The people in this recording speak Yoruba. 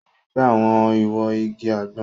O nifẹ awọn iwo ìgi àgbon.